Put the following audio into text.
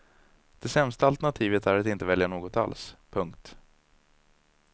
Det sämsta alternativet är att inte välja något alls. punkt